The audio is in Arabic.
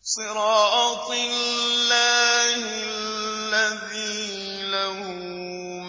صِرَاطِ اللَّهِ الَّذِي لَهُ